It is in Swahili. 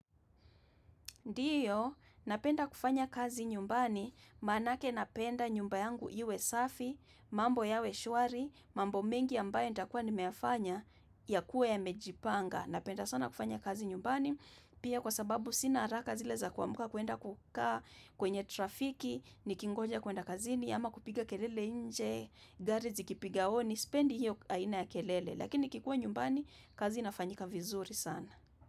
Ndiyo, napenda kufanya kazi nyumbani, maanake napenda nyumba yangu iwe safi, mambo yawe shwari, mambo mengi ambayo nitakuwa nimeyafanya yakuwe yamejipanga. Napenda sana kufanya kazi nyumbani, pia kwa sababu sina haraka zile za kuamka kwenda kukaa kwenye trafiki, nikingoja kuenda kazini, ama kupiga kelele nje, gari zikipiga honi, sipendi hiyo aina ya kelele, lakini nikikuwa nyumbani, kazi inafanyika vizuri sana.